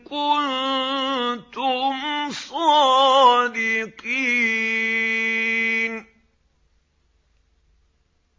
كُنتُمْ صَادِقِينَ